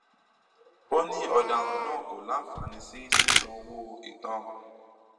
ó ní ọdaràn náà kò láǹfààní sí sísan owó ìtanràn